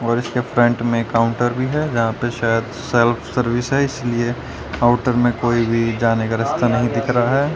और इसके फ्रंट में काउंटर भी है यहां पे शायद सेल्फ सर्विस है इसलिए आउटर में कोई भी जाने का रास्ता नहीं दिख रहा है।